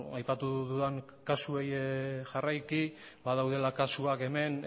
aipatu dudan kasuei jarraiki badaudela kasuak hemen